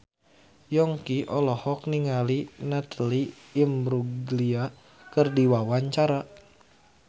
Yongki olohok ningali Natalie Imbruglia keur diwawancara